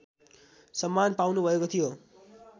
सम्मान पाउनुभएको थियो